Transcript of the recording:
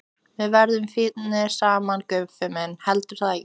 Við verðum fínir saman, Guffi minn, heldurðu það ekki?